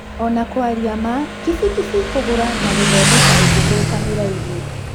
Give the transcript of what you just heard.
Ona kwaria maa, kibikibi kũgũra na gũthondeka ingĩthũka nĩ raithi.